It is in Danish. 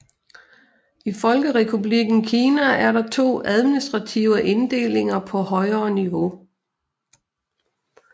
I Folkerepublikken Kina er der to administrative inddelinger på højere niveau